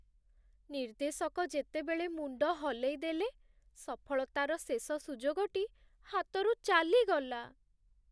ନିର୍ଦ୍ଦେଶକ ଯେତେବେଳେ ମୁଣ୍ଡ ହଲେଇଦେଲେ, ସଫଳତାର ଶେଷ ସୁଯୋଗଟି ହାତରୁ ଚାଲିଗଲା।